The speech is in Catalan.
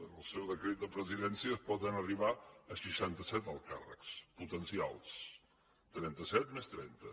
en el seu decret de presidència poden arribar a seixantaset alts càrrecs potencials trenta set més trenta